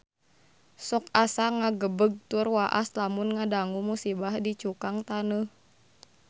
Sok asa ngagebeg tur waas lamun ngadangu musibah di Cukang Taneuh